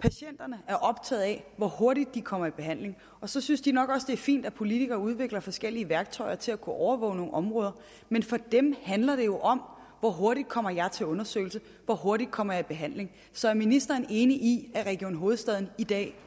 patienterne er optaget af hvor hurtigt de kommer i behandling og så synes de nok også det er fint at politikere udvikler forskellige værktøjer til at kunne overvåge nogle områder men for dem handler det jo om hvor hurtigt kommer jeg til undersøgelse hvor hurtigt kommer jeg i behandling så er ministeren enig i at region hovedstaden i dag